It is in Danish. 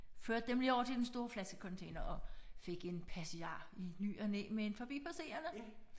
Førte dem lige over til den store flaskecontainer og fik en passiar i ny og næ med en forbipasserende